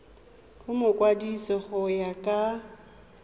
go mokwadise go ya ka